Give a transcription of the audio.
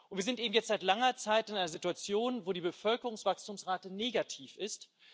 Wir sind eben jetzt seit langer Zeit in einer Situation, wo die Bevölkerungswachstumsrate negativ ist.